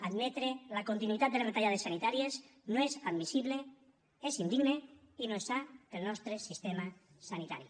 admetre la continuïtat de les retallades sanitàries no és admissible és indigne i no és sa per al nostre sistema sanitari